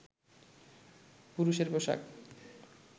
পুরুষের পোশাক